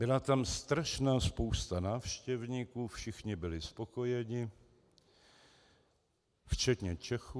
Byla tam strašná spousta návštěvníků, všichni byli spokojeni, včetně Čechů.